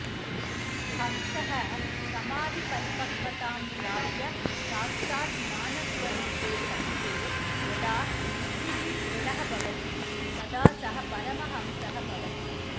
हंसः समाधिपरिपक्वतां प्राप्य साक्षात् ज्ञानस्वरूपे सत्ये यदा बुद्धिः दृढः भवति तदा सः परमहंसः भवति